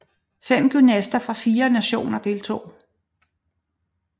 Fem gymnaster fra 4 nationer deltog